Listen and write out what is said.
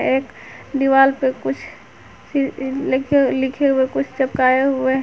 एक दीवाल पे कुछ लिखे हुए कुछ चिपकाए हुए हैं।